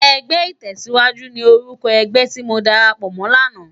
Ègbè itèsíwájú ni órúkò ègbè ti mó dàrápò mò làná